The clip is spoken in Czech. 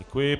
Děkuji.